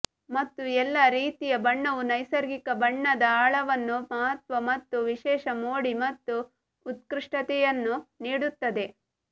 ಮತ್ತು ಎಲ್ಲಾ ರೀತಿಯ ಬಣ್ಣವು ನೈಸರ್ಗಿಕ ಬಣ್ಣದ ಆಳವನ್ನು ಮಹತ್ವ ಮತ್ತು ವಿಶೇಷ ಮೋಡಿ ಮತ್ತು ಉತ್ಕೃಷ್ಟತೆಯನ್ನು ನೀಡುತ್ತದೆ